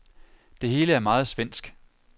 Det hele er meget svensk.